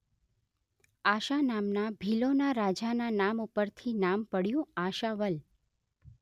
આશા નામના ભીલોના રાજાના નામ ઉપરથી નામ પડ્યું આશાવલ